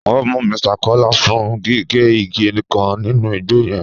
Wọn mú Mr Kọla fún gígé igi kan nínú igbo yẹn.